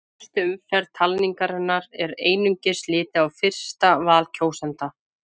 Í fyrstu umferð talningarinnar er einungis litið á fyrsta val kjósenda.